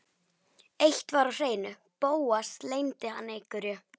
Eitt var á hreinu: Bóas leyndi hann einhverju.